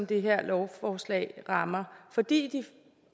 det her lovforslag rammer fordi de